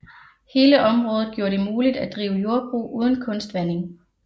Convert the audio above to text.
Hele området gjorde det muligt at drive jordbrug uden kunstvanding